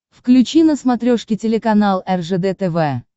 включи на смотрешке телеканал ржд тв